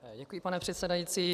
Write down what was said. Děkuji, pane předsedající.